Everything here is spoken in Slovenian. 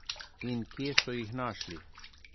In kje so jih našli?